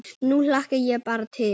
Nú hlakka ég bara til.